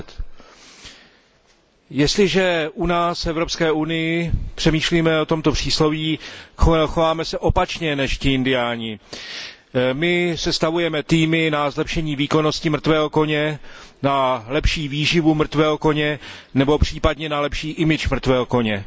20 Jestliže u nás v Evropské unii přemýšlíme o tomto přísloví, chováme se opačně než ti indiáni. My sestavujeme týmy na zlepšení výkonnosti mrtvého koně, na lepší výživu mrtvého koně nebo případně na lepší image mrtvého koně.